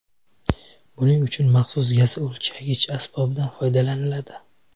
Buning uchun maxsus gaz o‘lchagich asbobidan foydalaniladi.